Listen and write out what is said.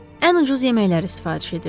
Ən ucuz yeməkləri sifariş edirdik.